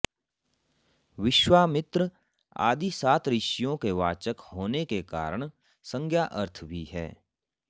विश्वमित्र आदि सात ऋषियों के वाचक होने के कारण संज्ञा अर्थ भी है